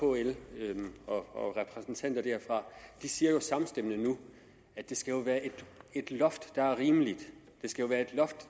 kl og repræsentanter derfra siger jo samstemmende nu at det skal være et loft der er rimeligt det skal være et loft